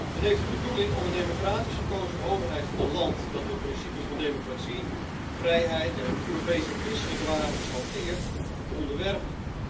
Dat heeft de bedoeling om een democratisch gekozen overheid van een land dat de principes van democratie, vrijheid en Europese en christelijke waardes hanteert, te onderwerpen.